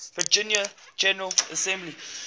virginia general assembly